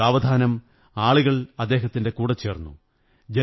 സാവധാനം ആളുകൾ കൂടെച്ചേര്ന്നുയ